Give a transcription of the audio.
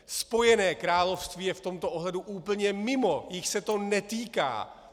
Spojené království je v tomto ohledu úplně mimo, jich se to netýká.